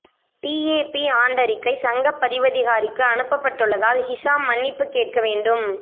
DAP ஆண்டறிக்கை சங்கப் பதிவதிகாரிக்கு அனுப்பப்பட்டுள்ளதால் ஹிஷாம் மன்னிப்புக் கேட்க வேண்டும்